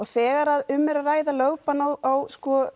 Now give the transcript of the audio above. þegar um er að ræða lögbann á